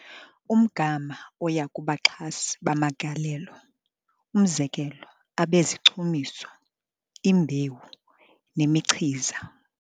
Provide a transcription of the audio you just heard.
Umgama oya kubaxhasi bamagalelo, umzekelo abezichumiso, imbewu nemichiza.